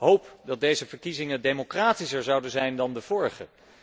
Hoop dat deze verkiezingen democratischer zouden zijn dan de vorige.